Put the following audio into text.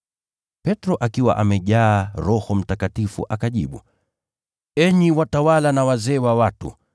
Petro, akiwa amejaa Roho Mtakatifu, akajibu, “Enyi watawala na wazee wa watu,